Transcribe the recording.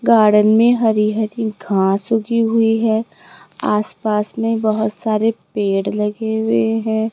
Garden में हरी हरी घास उगी हुई है आसपास में बहोत सारे पेड़ लगे हुए हैं।